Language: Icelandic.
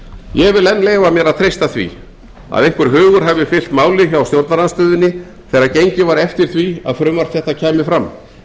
vil enn leyfa mér að treysta því að einhver hugur hafi fylgt máli hjá stjórnarandstöðunni þegar gengið var eftir því að þetta frumvarp kæmi fram